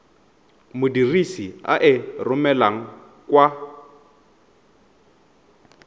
modirisi a e romelang kwa